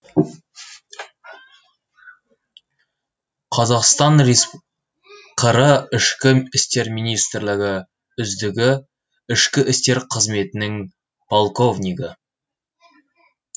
қр ішкі істер министрлігі үздігі ішкі істер қызметінің полковнигі